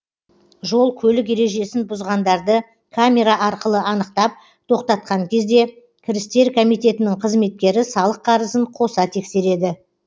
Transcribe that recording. жол көлік ережесін бұзғандарды камера арқылы анықтап тоқтатқан кезде кірістер комитетінің қызметкері салық қарызын қоса тексереді